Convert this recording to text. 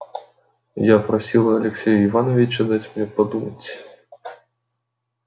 я просила алексея ивановича дать мне подумать